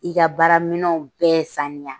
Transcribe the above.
I ka baara minɛnw bɛɛ saniya.